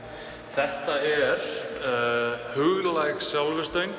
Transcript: þetta er huglæg